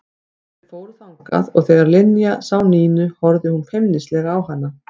Þau fóru þangað og þegar Linja sá Nínu horfði hún feimnislega á hana.